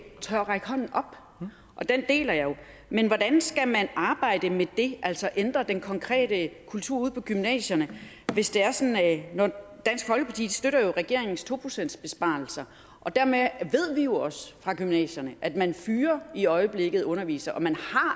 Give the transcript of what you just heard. tør række hånden op og den bekymring deler jeg jo men hvordan skal man arbejde med det altså ændre den konkrete kultur ude på gymnasierne dansk folkeparti støtter jo regeringens to procentsbesparelser dermed ved vi jo også fra gymnasierne at man i øjeblikket fyrer undervisere og at man